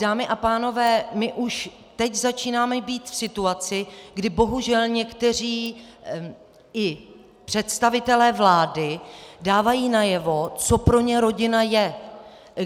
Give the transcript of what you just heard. Dámy a pánové, my už teď začínáme být v situaci, kdy bohužel i někteří představitelé vlády dávají najevo, co pro ně rodina je.